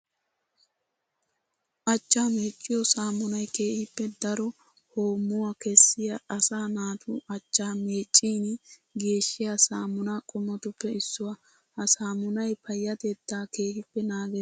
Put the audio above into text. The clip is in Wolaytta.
Achchaa meeciyo saamunay keehippe daro hoommuwa kessiya asaa naatu achcha meecin geeshiya saamunna qommotuppe issuwa. Ha saamunay payatetta keehippe naages.